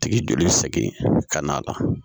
Tigi joli bɛ sɛgɛn ka na